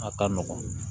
A ka nɔgɔn